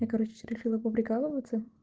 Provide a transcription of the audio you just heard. я короче решила поприкалываться